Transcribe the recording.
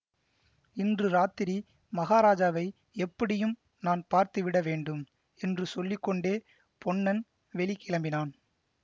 இன்று ராத்திரி மகாராஜாவை எப்படியும் நான் பார்த்துவிட வேண்டும் என்று சொல்லி கொண்டே பொன்னன் வெளி கிளம்பினான்